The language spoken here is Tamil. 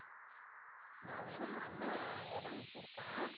நான் வேணா அண்ணா இடம் குடுத்தான்